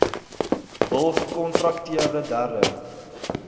hul gekontrakteerde derde